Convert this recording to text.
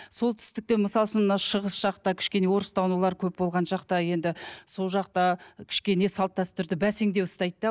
солтүстікте мысалы үшін мынау шығыс жақта кішкене орыстанулар көп болған жақта енді сол жақта кішкене салт дәстүрді бәсеңдеу ұстайды да